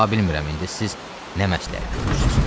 Ta bilmirəm indi siz nə məsləhət görürsünüz.